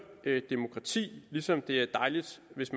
demokratiet ligesom det er dejligt hvis